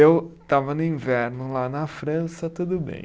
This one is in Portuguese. Eu estava no inverno lá na França, tudo bem.